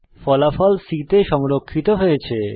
ফলাফল C তে সংরক্ষিত হয়েছে